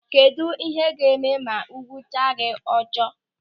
Kedụ ihe ị ga-eme ma egwucha gị ojoro?